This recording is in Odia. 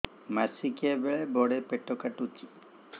ମାସିକିଆ ବେଳେ ବଡେ ପେଟ କାଟୁଚି